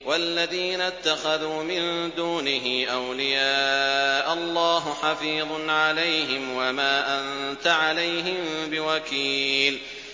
وَالَّذِينَ اتَّخَذُوا مِن دُونِهِ أَوْلِيَاءَ اللَّهُ حَفِيظٌ عَلَيْهِمْ وَمَا أَنتَ عَلَيْهِم بِوَكِيلٍ